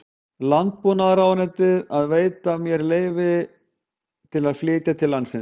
Landbúnaðarráðuneytið að það veitti mér leyfi til að flytja til landsins